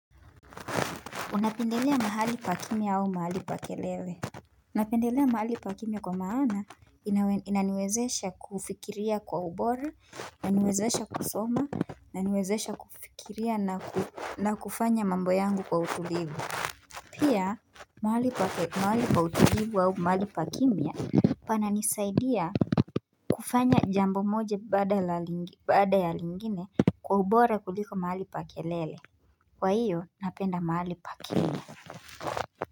Unapendelea mahali pa kimya au mahali pa kelele napendelea mahali pa kimya kwa maana inaniwezesha kufikiria kwa ubora, inaniwezesha kusoma, inaniwezesha kufikiria na kufanya mambo yangu kwa utulivu Pia mahali pa utulivu au mahali pa kimya Pananisaidia kufanya jambo moja baada la baada ya lingine kwa ubora kuliko mahali pa kelele kwahiyo napenda mahali pa kimya.